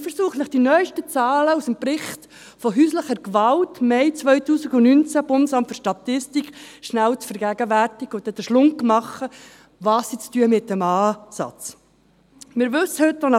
Ich versuche Ihnen die neuesten Zahlen aus dem Bericht «Häusliche Gewalt» vom Mai 2019, Bundesamt für Statistik (BFS), rasch zu vergegenwärtigen und mache danach die Überleitung zu dem, was sie mit dem Zusatz zu tun haben.